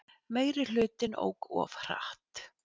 Meirihlutinn ók of hratt